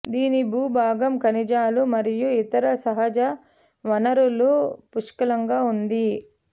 దీని భూభాగం ఖనిజాలు మరియు ఇతర సహజ వనరులు పుష్కలంగా ఉంది